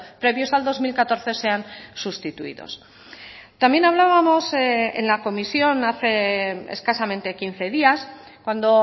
previos al dos mil catorce sean sustituidos también hablábamos en la comisión hace escasamente quince días cuando